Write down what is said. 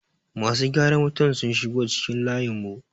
masu gyaran wutar sun shigo cikin layinmu